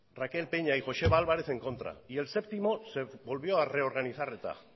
raquel peña y joseba alvarez en contra y el séptimo se volvió a reorganizar eta